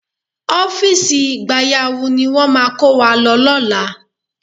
Ọ́fíìsì gbayawu ni wọ́n máa kó wa lọ lọ́la